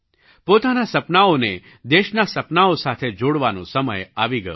પોતાનાં સપનાંઓને દેશનાં સપનાંઓ સાથે જોડવાનો સમય આવી ગયો છે